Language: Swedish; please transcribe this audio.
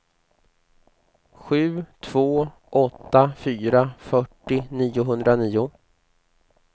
sju två åtta fyra fyrtio niohundranio